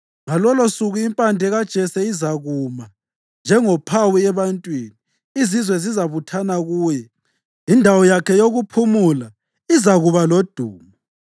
Ngalolosuku iMpande kaJese izakuma njengophawu ebantwini; izizwe zizabuthana kuye, indawo yakhe yokuphumula izakuba lodumo.